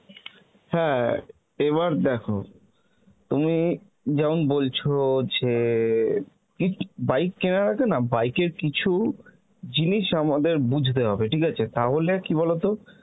হ্যাঁ এবার দেখো, তুমি যেমন বলছ যে কী bike কেনার আগে না bike এর কিছু জিনিস আমাদের বুঝতে হবে, ঠিক আছে তাহলে কী বলতো